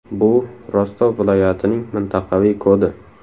Bu Rostov viloyatining mintaqaviy kodi.